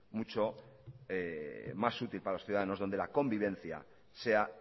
mucho más útil para los ciudadanos donde la convivencia sea